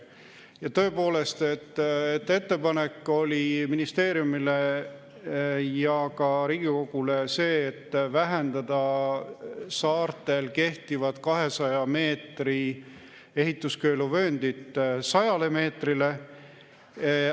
Ja tõepoolest, ettepanek ministeeriumile ja ka Riigikogule oli see, et vähendada saartel kehtivat 200‑meetrist ehituskeeluvööndit 100 meetrile.